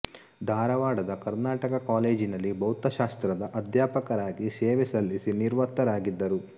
ಧಾರವಾಡದ ಕರ್ನಾಟಕ ಕಾಲೇಜಿನಲ್ಲಿ ಭೌತಶಾಸ್ತ್ರದ ಅಧ್ಯಾಪಕರಾಗಿ ಸೇವೆ ಸಲ್ಲಿಸಿ ನಿವೃತ್ತರಾಗಿದ್ದರು